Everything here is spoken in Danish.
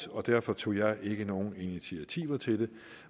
og derfor tog jeg ikke nogen initiativer til det